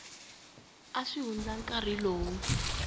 nga si hundza nkarhi lowu